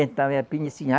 Então é a